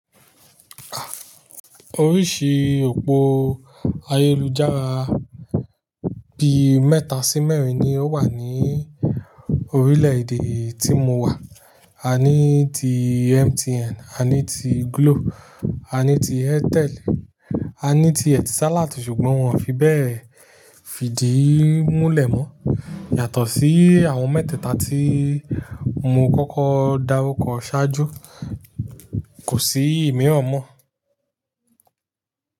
Oríṣi òpó ayélujára bi mẹ́ta sí mẹ́rin ni ó wà ní orílẹ̀ èdè tí mo wà. A ní ti MTN, a ní ti Glo, a ní ti Airtel, a ní ti Etisalat ṣùgbọ́n wọ́n ò fi bẹ́ẹ̀ fìdí múlẹ̀ mọ́. Yàtọ̀ sí àwọn mẹ́tẹ̀ẹ̀ta tí mo kọ́kọ́ dáru kọ ṣáájú, kò sí ìmiran mọ́